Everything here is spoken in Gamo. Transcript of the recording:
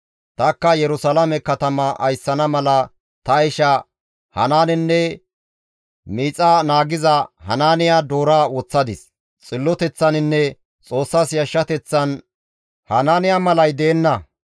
Tanikka Yerusalaame katama ayssana mala ta isha Hanaanenne miixa naagiza Hanaaniya doora woththadis; xilloteththaninne Xoossas yashshateththan Hanaaniyay malay deenna.